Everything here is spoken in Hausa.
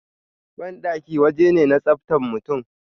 Bandaki waje ne na tsaftan mutum